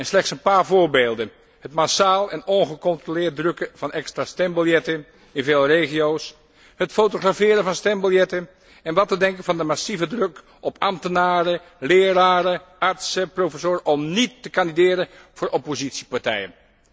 Slechts een paar voorbeelden het massaal en ongecontroleerd drukken van extra stembiljetten in veel regio's, het fotograferen van stembiljetten, en wat te denken van de massieve druk op ambtenaren, leraren, artsen en professoren om geen kandidaat te worden voor oppositiepartijen.